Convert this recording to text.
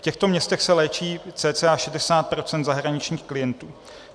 V těchto městech se léčí cca 60 % zahraničních klientů.